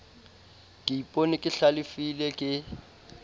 ke ipona ke hlalefile ke